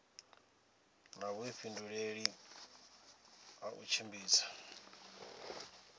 na vhuifhinduleli ha u tshimbidza